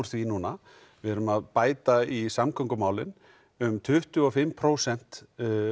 því núna við erum að bæta í samgöngumálin um tuttugu og fimm prósent